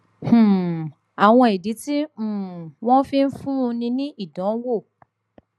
um àwọn ìdí tí um wọn fi ń fúnni ní ìdánwò